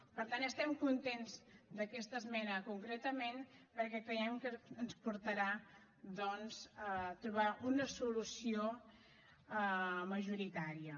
per tant estem contents d’aquesta esmena concretament perquè creiem que ens portarà doncs a trobar una solució majoritària